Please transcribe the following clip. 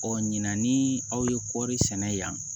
Ɔ ɲinan ni aw ye kɔɔri sɛnɛ yan